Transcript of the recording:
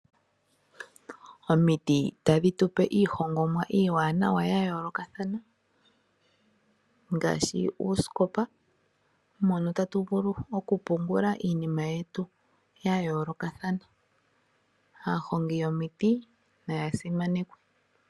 Omiti tadhi tu pe iihongomwa iiwaanawa ya yoolokathana ngaashi uusikopa mono tatu vulu okupungula iinima yetu ya yoolokathana. Aahongi yomiti naya simanekwe.